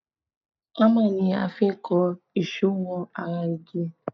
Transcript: Hámà ni a fi n kan èso wọ ara igi